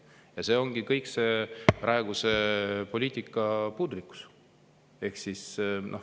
Ja see kõik praeguse poliitika puudulikkusest.